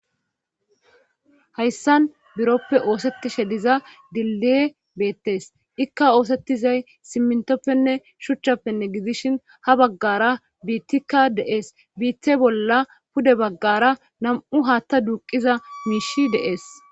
hayssan biroppe oosettishe diza diliye beettes ikka oosettizay simmintoppenne shuchchappenne gidishin ha baggara biittikka dees biithe bolla pude baggara nam7u haatta duuqiza miishi de'es